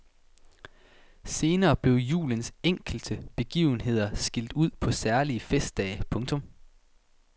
Senere blev julens enkelte begivenheder skilt ud på særlige festdage. punktum